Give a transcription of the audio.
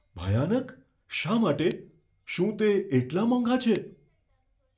ભયાનક? શા માટે? શું તે એટલા મોંઘા છે?